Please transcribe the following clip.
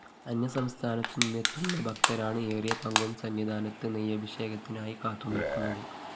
അന്യസംസ്ഥാനത്തുനിന്ന് എത്തുന്ന ഭക്തരാണ് ഏറിയപങ്കും സന്നിധാനത്ത് നെയ്യഭിഷേകത്തിനായി കാത്തുനില്‍ക്കുന്നത്